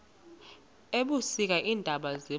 ebusika iintaba ziba